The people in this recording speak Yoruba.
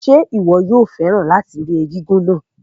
Ṣé o máa fẹ́ràn láti ẹ̀kú egúngún náà?